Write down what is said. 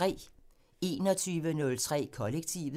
21:03: Kollektivet